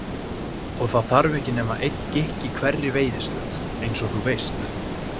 Og það þarf ekki nema einn gikk í hverri veiðistöð, eins og þú veist.